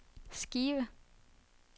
Skive